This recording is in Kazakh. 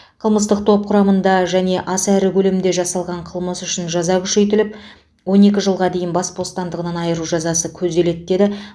қылмыстық топ құрамында және аса ірі көлемде жасалған қылмыс үшін жаза күшейтіліп он екі жылға дейін бас бостандығынан айыру жазасы көзделеді деді